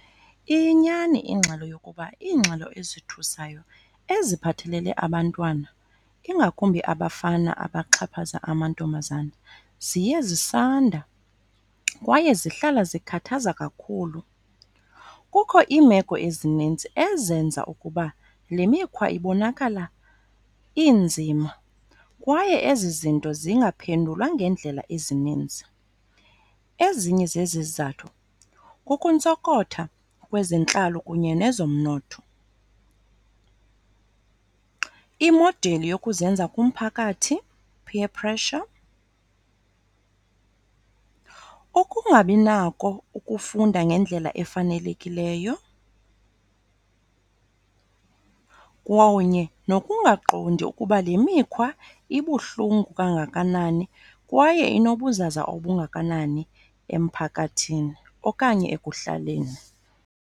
Iyinyani ingxelo yokuba iingxelo ezithusayo eziphathelele abantwana, ingakumbi abafana abaxhaphaza amantombazana, ziye zisanda kwaye zihlala zikhathaza kakhulu. Kukho iimeko ezininzi ezenza ukuba le mikhwa ibonakala inzima kwaye ezi zinto zingaphendulwa ngeendlela ezininzi. Ezinye zezi zizathu kukuntsokotha kwezentlalo kunye nezomnotho, imodeli yokuzenza kumphakathi, peer pressure, ukungabinako ukufunda ngendlela efanelekileyo, kunye nokungaqondi ukuba le mikhwa ibuhlungu kangakanani kwaye inobuzaza obungakanani emphakathini okanye ekuhlaleni.